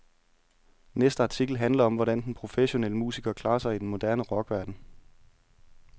Næste artikel handler om, hvordan den professionelle musiker klarer sig i den moderne rockverden.